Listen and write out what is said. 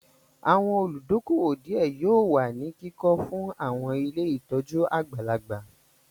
Àwọn olùdókóówò díẹ̀ yóò wà ní kíkọ fún àwọn ilé ìtọ́jú àgbàlagbà